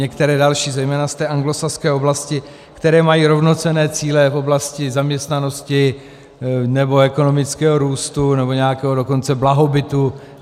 Některé další, zejména z té anglosaské oblasti, které mají rovnocenné cíle v oblasti zaměstnanosti nebo ekonomického růstu nebo nějakého dokonce blahobytu.